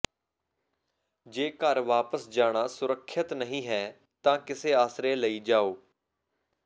ਜੇ ਘਰ ਵਾਪਸ ਜਾਣਾ ਸੁਰੱਖਿਅਤ ਨਹੀਂ ਹੈ ਤਾਂ ਕਿਸੇ ਆਸਰੇ ਲਈ ਜਾਓ